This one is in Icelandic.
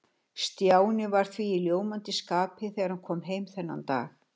Stjáni var því í ljómandi skapi þegar hann kom heim þennan dag.